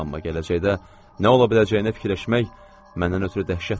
Amma gələcəkdə nə ola biləcəyini fikirləşmək məndən ötrü dəhşətlidir.